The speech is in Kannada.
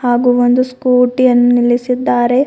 ಹಾಗು ಒಂದು ಸ್ಕೂಟಿ ಯನ್ನು ನಿಲ್ಲಿಸಿದ್ದಾರೆ.